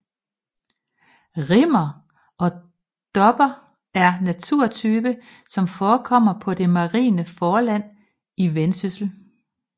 Rimmer og dopper er en naturtype som forekommer på det marine forland i Vendsyssel